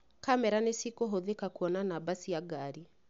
Kamera nĩcikũhũthĩka kuona namba cia ngari